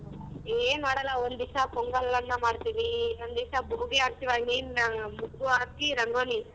ಏನ್ ಮಾಡಲ್ಲ ಒಂದಿಸ ಪೊಂಗಲ್ ಅನ್ನ ಮಾಡತೀವಿ ಒಂದಿಸ ಆಗತಿವಿ I mean ಮೊಗ್ಗು ಹಾಕಿ ರಂಗೋಲಿ.